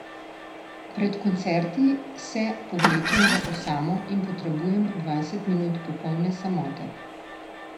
Pred koncerti se povlečem v osamo in potrebujem dvajset minut popolne samote.